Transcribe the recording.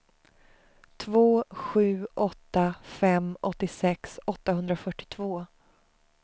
två sju åtta fem åttiosex åttahundrafyrtiotvå